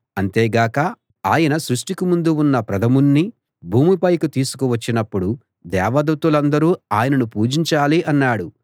అంతేగాక ఆయన సృష్టికి ముందు ఉన్న ప్రథముణ్ణి భూమి పైకి తీసుకు వచ్చినప్పుడు దేవదూతలందరూ ఆయనను పూజించాలి అన్నాడు